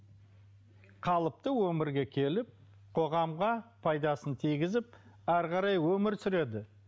қалыпты өмірге келіп қоғамға пайдасын тигізіп әрі қарай өмір сүреді